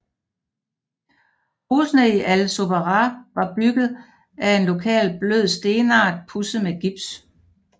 Husene i Al Zubarah var bygget a en lokal blød stenart pudset med gips